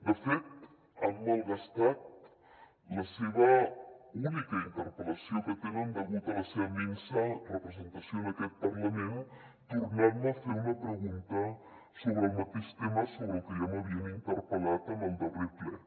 de fet han malgastat la seva única interpel·lació que tenen degut a la seva minsa representació en aquest parlament tornant me a fer una pregunta sobre el mateix tema sobre el que ja m’havien interpel·lat en el darrer ple